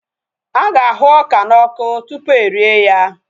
Aga ahu ọka na ọkụ tupu erie ya